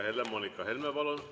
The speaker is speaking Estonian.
Helle-Moonika Helme, palun!